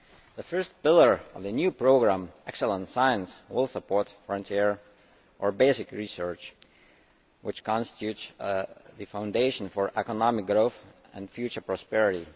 The first pillar of the new programme Excellent Science' will support frontier or basic research, which constitutes the foundation for economic growth and future prosperity.